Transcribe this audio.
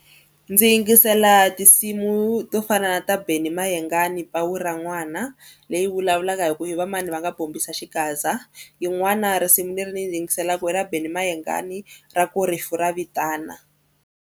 Ndzi yingisela tinsimu to fana na ta Benny Mayengani pawu ra n'wana leyi vulavulaka hi ku i va mani va nga bombisa xigaza. Yin'wana risimu leri ni yingiselaka i ra Benny Mayengani ra ku rifu ra vitana.